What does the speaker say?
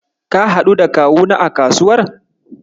Ka haɗu da Kawuna a kasuwar?